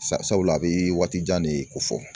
Sabula a bɛ waati jan de ko fɔ